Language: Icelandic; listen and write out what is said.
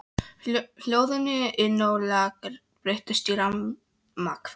Hljóðin inni á lager breyttust í ramakvein.